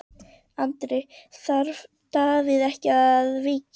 Andri: Þarf Davíð ekki að víkja?